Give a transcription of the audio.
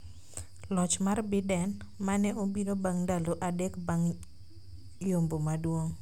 Loch mar Biden, ma ne obiro bang’ ndalo adek bang’ yombo maduong’